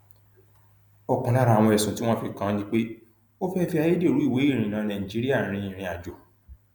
ọkan lára ẹsùn tí wọn fi kàn án ni pé ó fẹẹ fi ayédèrú ìwé ìrìnnà nàìjíríà rin ìrìnàjò